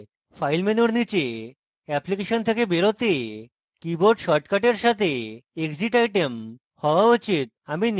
file menu নীচে application থেকে বেরোতে keyboard shortcut সাথে exit item হওয়া exit